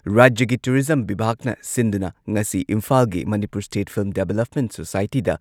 ꯔꯥꯖ꯭ꯌꯒꯤ ꯇꯨꯔꯤꯖꯝ ꯕꯤꯚꯥꯛꯅ ꯁꯤꯟꯗꯨꯅ ꯉꯁꯤ ꯏꯝꯐꯥꯜꯒꯤ ꯃꯅꯤꯄꯨꯔ ꯁ꯭ꯇꯦꯠ ꯐꯤꯜꯝ ꯗꯦꯚꯂꯞꯃꯦꯟꯠ ꯁꯣꯁꯥꯢꯇꯤꯗ